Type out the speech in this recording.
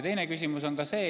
See on nüüd eelnõu mõte.